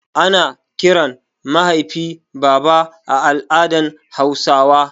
Ana kiran mahaifi baba a al'adan hausawa